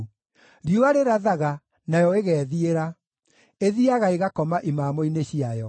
Riũa rĩrathaga, nayo ĩgeethiĩra; ĩthiiaga ĩgakoma imamo-inĩ ciayo.